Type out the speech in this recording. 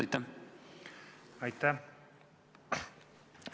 Aitäh!